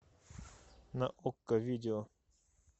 на окко видео